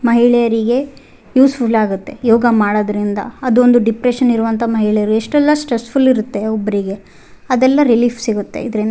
ಮಹಿಳೆಯರಿಗೆ ಯೂಸ್ಫುಲ್ ಆಗುತ್ತೆ ಯೋಗ ಮಾಡೋದ್ರಿಂದ ಅದೊಂದು ಡಿಪ್ರೆಶನ್ನಿರುವಂತ ಮಹಿಳೆಯರು ಎಷ್ಟೆಲ್ಲಾ ಸ್ಟ್ರೆಸ್ಫುಲ್ ಇರುತ್ತೆ ಒಬ್ರಿಗೆ ಅದೆಲ್ಲ ರಿಲೀಫ್ ಸಿಗುತ್ತೆ ಇದ್ರಿಂ --